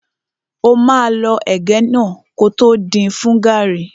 Ó máa lọ ẹ̀gẹ́ náà kótó din fún gàrrí.